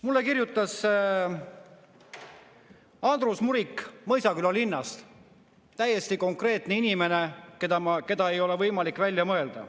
Mulle kirjutas Andrus Murik Mõisaküla linnast, täiesti konkreetne inimene, keda ei ole võimalik välja mõelda.